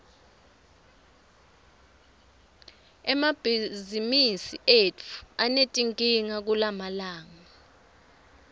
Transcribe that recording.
emabhizimisi etfu anetinkinga kulamalanga